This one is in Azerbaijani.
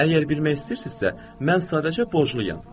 Əgər bilmək istəyirsinizsə, mən sadəcə borcluyam.